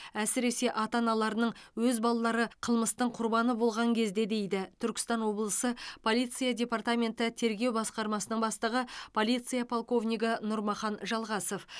әсіресе ата аналарының өз балалары қылмыстың құрбаны болған кезде дейді түркістан облысы полиция департаменті тергеу басқармасының бастығы полиция полковнигі нұрмахан жалғасов